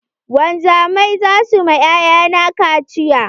Wanzamai zasu ma 'ya'ya na kaciya.